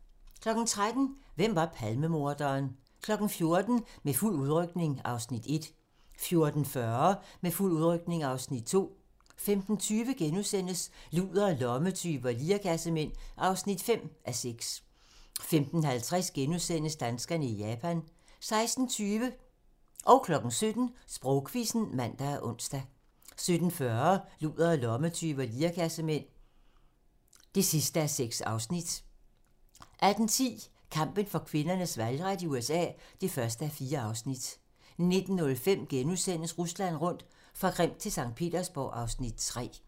13:00: Hvem var Palmemorderen? 14:00: Med fuld udrykning (Afs. 1) 14:40: Med fuld udrykning (Afs. 2) 15:20: Ludere, lommetyve og lirekassemænd (5:6)* 15:50: Danskerne i Japan * 16:20: Sprogquizzen (man og ons) 17:00: Sprogquizzen (man og ons) 17:40: Ludere, lommetyve og lirekassemænd (6:6) 18:10: Kampen for kvinders valgret i USA (1:4) 19:05: Rusland rundt - fra Krim til Skt. Petersborg (Afs. 3)*